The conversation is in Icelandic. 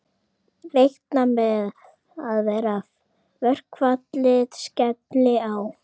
Reikna með að verkfallið skelli á